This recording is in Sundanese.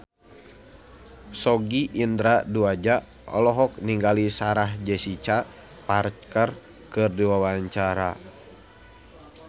Sogi Indra Duaja olohok ningali Sarah Jessica Parker keur diwawancara